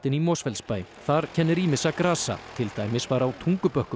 í Mosfellsbæ þar kennir ýmissa grasa til dæmis var á Tungubökkum í